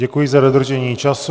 Děkuji za dodržení času.